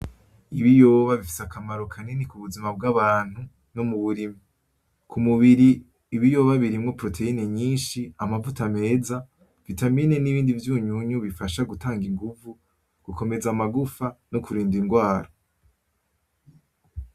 Ibiyoba bifise akamaro kanini kubuzima bwabantu nomuburimyi. Kumubiri, ibiyoba birimwo proteyine nyinshi, amavuta meza, vitamine n’ibindi vyunyunyu bifashe gutanga ingumvu, gukomeza amagufa, nokurinda ingwara.